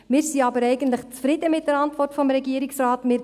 Wir sind aber eigentlich mit der Antwort des Regierungsrates zufrieden.